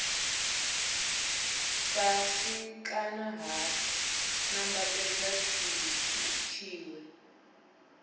fhasi kana ha nambatedzwa tshiwe